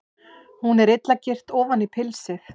Hún er illa girt ofan í pilsið.